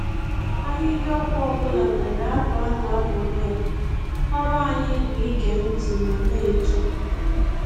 Ahịhịa ọgwụ ọbụla nwere abụ a na-abụrụ ya, ọrụ anyị bụ ige ntị ma na-eto.